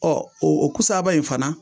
Ɔ o kusaaba in fana